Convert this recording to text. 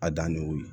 A danni y'o ye